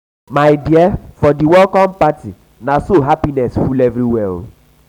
my dear for di welcome party na so happiness full everywhere.